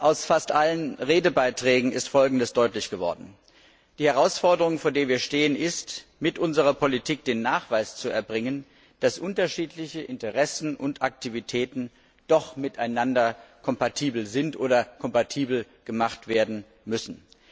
Aus fast allen Redebeiträgen ist Folgendes deutlich geworden Die Herausforderungen vor denen wir stehen, bestehen darin, mit unserer Politik den Nachweis zu erbringen, dass unterschiedliche Interessen und Aktivitäten doch miteinander kompatibel sind oder kompatibel gemacht werden müssen.